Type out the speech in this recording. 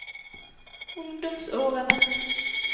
ungdomsårene